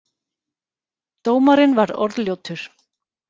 Dómarinn var orðljótur